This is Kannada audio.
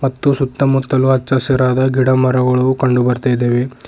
ಮತ್ತು ಸುತ್ತ ಮುತ್ತಲು ಹಚ್ಚ ಹಸಿರಾದ ಗಿಡ ಮರಗಳು ಕಂಡು ಬರ್ತಾಇದಾವೆ.